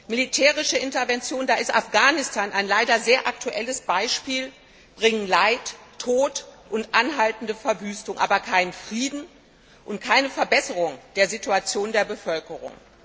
Militärische Interventionen da ist Afghanistan ein leider sehr aktuelles Beispiel bringen Leid, Tod und anhaltende Verwüstung, aber keinen Frieden und keine Verbesserung der Situation der Bevölkerung.